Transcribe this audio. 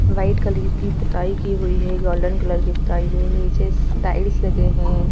White colour की पुताई की हुई है गोल्डन कलर की पुताई है नीचे टाइल्स लगे हैं।